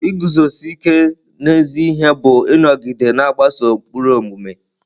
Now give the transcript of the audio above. Iguzosi ike n'ezi ihe bụ ịnọgide na-agbaso ụkpụrụ omume.